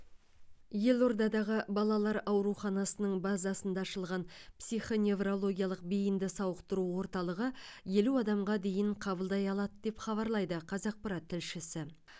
елордадағы балалар ауруханасының базасында ашылған психоневрологиялық бейінді сауықтыру орталығы елу адамға дейін қабылдай алады деп хабарлайды қазақпарат тілшісі